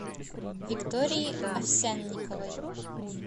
виктории овсянниковой